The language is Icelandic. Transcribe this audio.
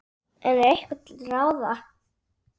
En er eitthvað til ráða?